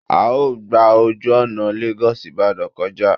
A ó gba ojú ọ̀nà Lagos Ibadan kọjá